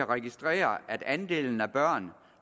registrere at andelen af børn